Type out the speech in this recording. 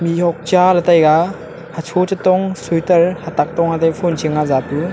mihhuak cha le taiga hacho chi chong suiter hata tong fon shing a japu.